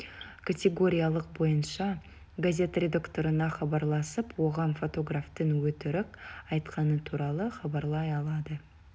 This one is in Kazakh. категориялық бойынша газет редакторына хабарласып оған фотографтың өтірік айтқаны туралы хабарлай алады